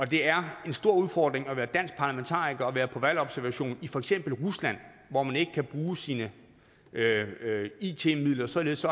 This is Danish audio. det er en stor udfordring at være dansk parlamentariker og være på valgobservation i for eksempel rusland hvor man ikke kan bruge sine it midler således